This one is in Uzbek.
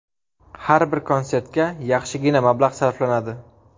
Har bir konsertga yaxshigina mablag‘ sarflanadi.